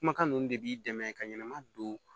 Kumakan ninnu de b'i dɛmɛ ka ɲɛnɛma don